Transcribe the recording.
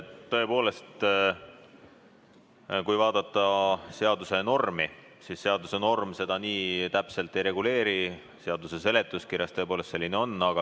Tõepoolest, kui vaadata seaduse normi, siis võib öelda, et seaduse norm seda nii täpselt ei reguleeri, aga seaduse seletuskirjas on tõepoolest selline kommentaar.